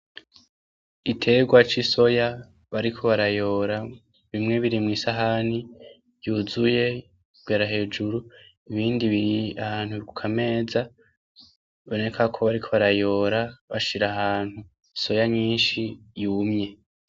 Igitegwa c'isoya bariko barayora bimwe biri mw'isahani yuzuye kugera hejuru ibindi biri ahantu kukameza bibonekako bariko barayora bashira ahantu isoya nyinshi yumye.